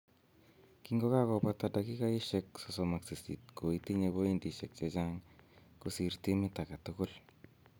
Kingokakobata dakikosiek 38 ko itinye pointisiek chechang kosie timit agetugul